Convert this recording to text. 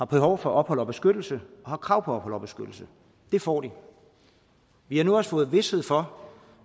behov for ophold og beskyttelse og krav på ophold og beskyttelse får det vi har nu også fået vished for